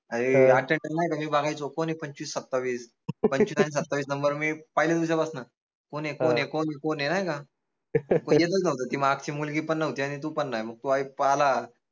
अरे का मी बघायचो कोन आहे पंचवीस सत्तावीस number मी पहिल्या दिवसापासन कोन ए कोन कोन ए नाय का? ती मागची मुलगी पन नव्हती आनि तू पन नाई मग तू पाहाला